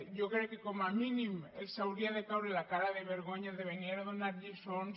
jo crec que com a mínim els hauria de caure la cara de vergonya de venir a donar lliçons